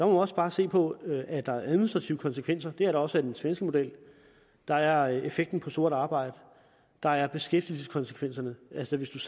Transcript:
også bare se på at der er administrative konsekvenser det er der også af den svenske model der er effekten på sort arbejde der er beskæftigelseskonsekvenserne altså hvis